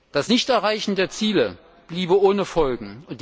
Das Nichterreichen der Ziele bliebe ohne Folgen.